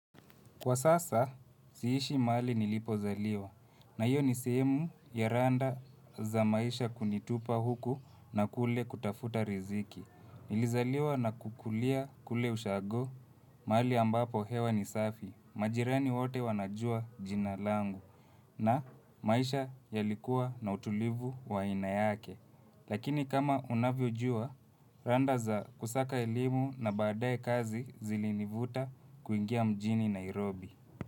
Kwa sasa, siishi mahali nilipo zaliwa, na hiyo nisehemu ya randa za maisha kunitupa huku na kule kutafuta riziki. Nilizaliwa na kukulia kule ushago, mahali ambapo hewa nisafi, majirani wote wanajua jina langu na maisha yalikuwa na utulivu wa ainayake. Lakini kama unavyojua, randa za kusaka elimu na baadae kazi zilinivuta kuingia mjini Nairobi.